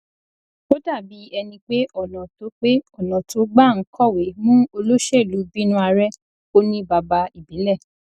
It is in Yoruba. ó dàbí ẹni pé ọnà tó pé ọnà tó gbà ń kọwé mú olóṣèlú bínúarẹ kò ní bàbá ìbílẹ